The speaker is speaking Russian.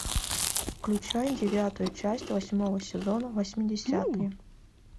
включай девятую часть восьмого сезона восьмидесятые